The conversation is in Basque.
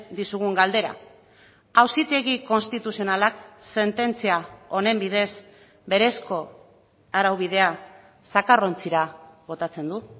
dizugun galdera auzitegi konstituzionalak sententzia honen bidez berezko araubidea zakarrontzira botatzen du